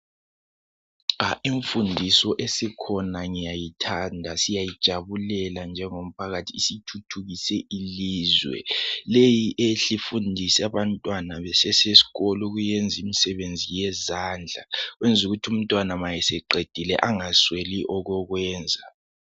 Imfundiso esikhona ngiyayithanda, siyayijabulela njengomphakathi isithuthukise ilizwe. Leyi ihle imfundise abantwana besasesikolo imisebenzi yezandla, yeza ukuthi umntwana eseqedile engasweli okokwenza.